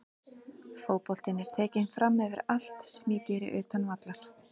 Fótboltinn er tekinn framyfir allt sem ég geri utan vallar.